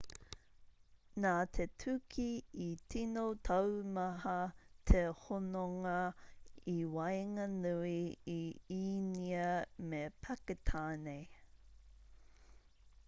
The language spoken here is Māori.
nā te tuki i tino taumaha te hononga i waenganui i īnia me pakitāne